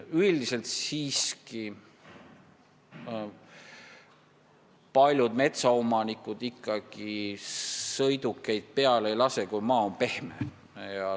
Üldiselt siiski paljud metsaomanikud sõidukeid peale ei lase, kui maa on pehme.